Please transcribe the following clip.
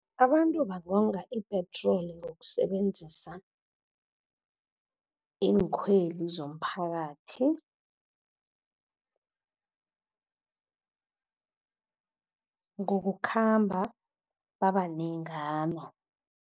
Abantu bangonga ipetroli ngokusebenzisa iinkhwezi zomphakathi , ngokukhamba babanengana.